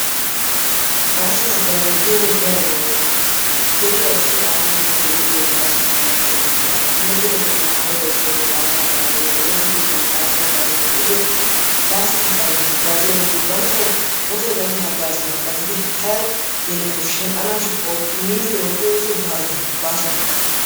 Baaso hagaazza giyogee darobaa oyqqi uttiis. deriyaa ayssiyo aawatettay de'iyooge baaso hagazza oykkidaaga. timirtte keettan tamaariya ayssiyaagee baaso hagaazzay diyoogaa, woossa keettan baaso hagaazzay de'iyo baaso hagaazza hagaazziya asati banttaw wotoy baynna hagaazzuwa hagaazzidi hara yelettaw shell'anashin miniddi oottiyo oosoy baaso hagaazza